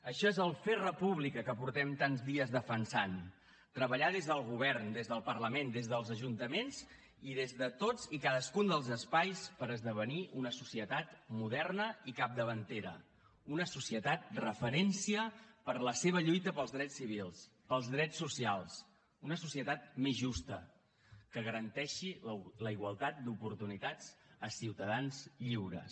això és el fer república que portem tants dies defensant treballar des del govern des del parlament des dels ajuntaments i des de tots i cadascun dels espais per esdevenir una societat moderna i capdavantera una societat referència per la seva lluita pels drets civils pels drets socials una societat més justa que garanteixi la igualtat d’oportunitats a ciutadans lliures